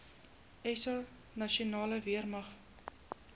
sa nasionale weermag